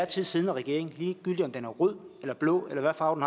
tid siddende regering ligegyldig om den er rød eller blå eller hvad farve